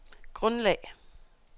grundlag